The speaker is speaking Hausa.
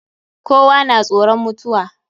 Kowa na tsoron mutuwa.